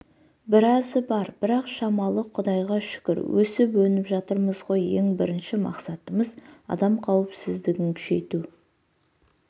біразы бар бірақ шамалы құдайға шүкір өсіп өніп жатырмыз ғой ең бірінші мақсатымыз адам қауіпсіздігін күшейту